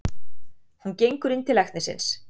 Hún gengur inn til læknisins.